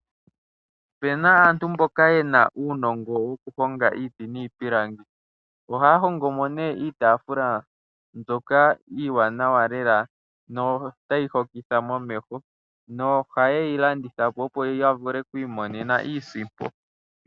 Opena aantu mboka yena uunongo woku honga iiti niipilangi. Ohaya hongo mo ne iitafula mbyoka iiwanawa lela notayi hokitha momeho nohaye yi landithapo opo ya vule oku imonena iisimpo.